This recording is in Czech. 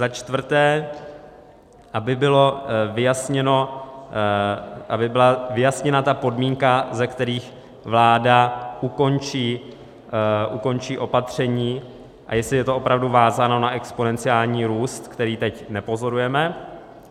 Za čtvrté, aby byly vyjasněny ty podmínky, za kterých vláda ukončí opatření, a jestli je to opravdu vázáno na exponenciální růst, který teď nepozorujeme.